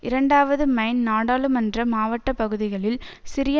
இரண்டாவது மைன் நாடாளுமன்ற மாவட்ட பகுதிகளில் சிறிய